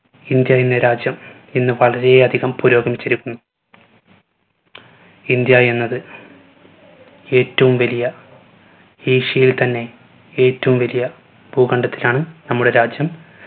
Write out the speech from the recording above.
India എന്ന രാജ്യം ഇന്ന് വളരെയധികം പുരോഗമിച്ചിരിക്കുന്നു. ഇന്ത്യ എന്നത് ഏറ്റവും വലിയ ഏഷ്യയിൽ തന്നെ ഏറ്റവും വലിയ ഭൂകാണ്ഡത്തിലാണ് നമ്മുടെ രാജ്യം